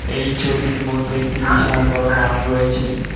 এই ছবিটির মধ্যে একটি বিশাল বড় মাঠ রয়েছে।